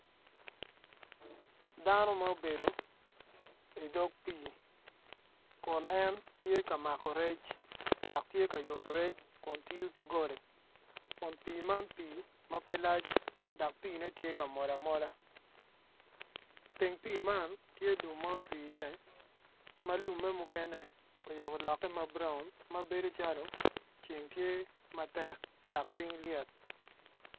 Dano ma obedo idog pii kun en tye ka mako rec dok tye ka yutu rec kun tiyo ki goli kun pii man pii ma pe lac dok pii-ne tye ka mol amola teng pii man tye lum ma otwi iye ma lumme mukene ocako lokke mauraun ma bedo calo ceng tye matek dak ping lyet